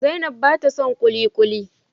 zainab ba ta don kulikuli